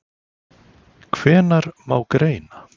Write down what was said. Hvenær má greina?